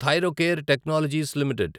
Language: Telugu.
Thyrocare technologies limited